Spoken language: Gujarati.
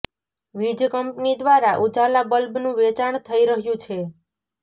વીજ કંપની દ્વારા ઉજાલા બલ્બનું વેચાણ થઈ રહ્યુ છે